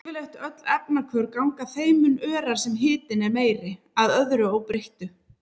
Yfirleitt öll efnahvörf ganga þeim mun örar sem hitinn er meiri, að öðru óbreyttu.